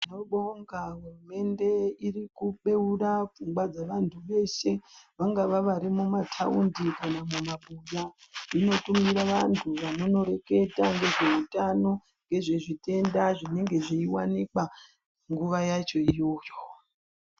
Tinobonga hurumende iri kubeura pfungwa dzevanthu veshe ,vangava vari mumathaundi kana kumabuya. Inotumira vantu vanonoreketa ngezveutano, ngezvezvitenda zvinenge zveiwanikwa, nguwa yacho iyoyo.